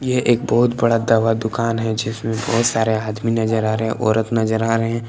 यह एक बहुत बड़ा दवा दुकान है जिसमें बहुत सारे आदमी नज़र आ रहे हैं औरत नज़र आ रहे हैं।